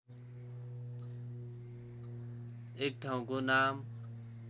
एक ठाउँको नाम